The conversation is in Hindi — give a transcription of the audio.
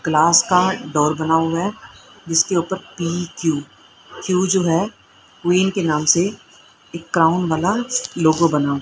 क्लास का डोर बना हुआ है जिसके ऊपर पी_क्यू क्यू जो हैं क्वीन के नाम से एक क्राउन बना लोगो बना--